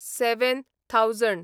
seven thousand